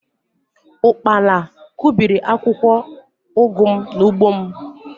ụkpala kụbiri akwụkwọ ugu m n’ugbo m